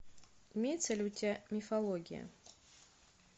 имеется ли у тебя мифология